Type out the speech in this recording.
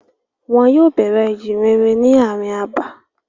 Wọn yóò bẹ̀rẹ̀ ìjíǹrere ni ààrin abà.